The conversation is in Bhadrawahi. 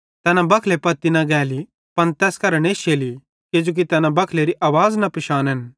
तैना बखले पत्ती न गैली पन तैस करां नश्शेली किजोकि तैना बखलेरी आवाज़ न पिशानन्